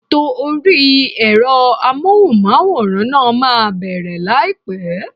Ètò orí ẹ̀rọ Amóhùnmáwòrán náà máa bẹ̀rẹ̀ láìpẹ́.